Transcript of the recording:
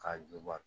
K'a juba